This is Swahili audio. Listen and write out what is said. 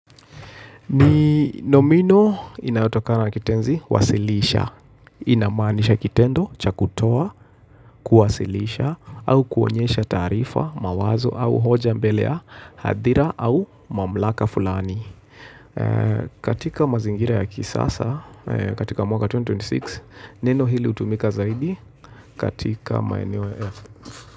Ni nomino inayotokana na kitenzi wasilisha. Inamanisha kitendo cha kutoa kuwasilisha au kuonyesha tarifa, mawazo au hoja mbele ya hadhira au mamlaka fulani. Katika mazingira ya kisasa, katika mwaka 2026,neno hili hutumika zaidi katika maeneo.